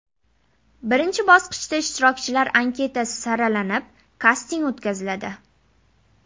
Birinchi bosqichda ishtirokchilar anketasi saralanib, kasting o‘tkaziladi.